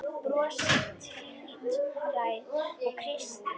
Brosið tvírætt á Kristi.